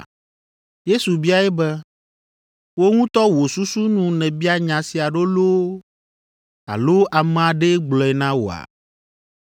Yesu biae be, “Wò ŋutɔ wò susu nu nèbia nya sia ɖo loo alo ame aɖee gblɔe na wòa?”